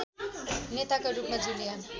नेताका रूपमा जुलिया